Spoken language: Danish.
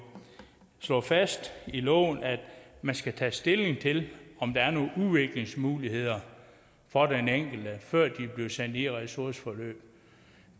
slået fast i loven at man skal tage stilling til om der er nogle udviklingsmuligheder for den enkelte før de bliver sendt i ressourceforløb